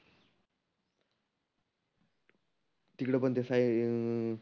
तीकड पण हे साईन हम्म